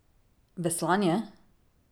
Veslanje?